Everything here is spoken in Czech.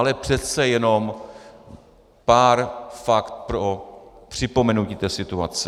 Ale přece jenom pár faktů pro připomenutí té situace.